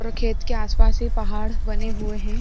और खेत के आस-पास ही पहाड़ बने हुए हैं |